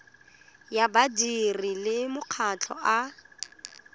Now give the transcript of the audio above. ya badiri le makgotla a